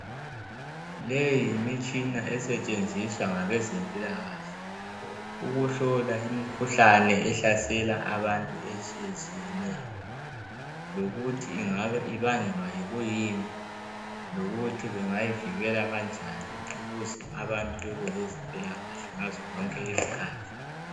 Leyi yimitshina esetshenziswa ngabezempilakahle ukuhlola imkhuhlane ehlasela abantu etshiyetshiyeneyo, lokuthi ingabe ibangelwa kuyini lokuthi bangayivikela kanjani ukuze abantu bebe lezimpilakahle ngazo zonke izikhathi.